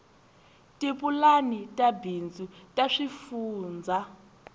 tipulani ta bindzu ta swifundzha